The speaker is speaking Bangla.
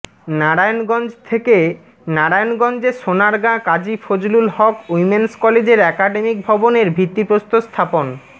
নারায়ণগঞ্জ থেকেঃ নারায়ণগঞ্জে সোনারগাঁ কাজী ফজলুল হক উইমেন্স কলেজের একাডেমিক ভবনের ভিত্তি প্রস্তর স্থাপন